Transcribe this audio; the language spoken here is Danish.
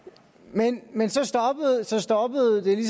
men men så stoppede det